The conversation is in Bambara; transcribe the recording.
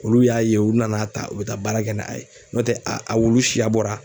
Olu y'a ye u na n'a ta u bɛ taa baara kɛ n'a ye n'o tɛ a a wulu siya bɔra